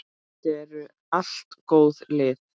Þetta eru allt góð lið.